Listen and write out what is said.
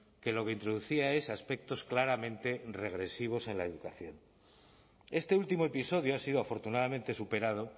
que lo que introducía es aspectos claramente regresivos en la educación este último episodio ha sido afortunadamente superado